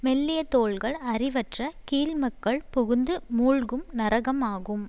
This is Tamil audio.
மெல்லிய தோள்கள் அறிவற்ற கீழ்மக்கள் புகுந்து மூழ்கும் நரகம் ஆகும்